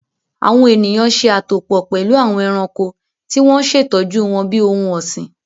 Awọn eniyan ṣe atopọ pẹlu awọn ẹranko ti wọn ṣe tọju wọn bi ohun ọsin